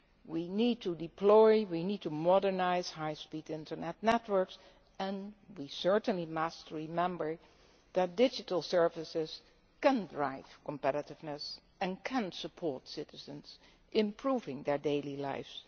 We need to deploy, we need to modernise high speed internet networks, and we must certainly remember that digital services can drive competitiveness and support citizens, improving their daily lives.